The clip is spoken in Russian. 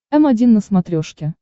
м один на смотрешке